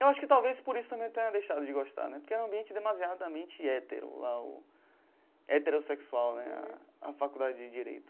Eu acho que talvez por isso também tenha deixado de gostar né, porque era um ambiente demasiadamente hétero, lá o heterossexual né, a a faculdade de Direito.